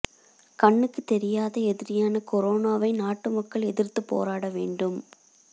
கண்ணுக்கு தெரியாத எதிரியான கொரோனாவை நாட்டு மக்கள் எதிர்த்து போராட வேண்டும்